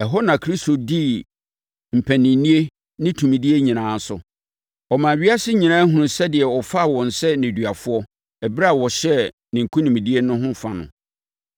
Ɛhɔ na Kristo dii mpaninnie ne tumidie nyinaa so. Ɔmaa ewiase nyinaa hunuu sɛdeɛ ɔfaa wɔn sɛ nneduafoɔ ɛberɛ a ɔhyɛɛ ne nkonimdie ho fa no.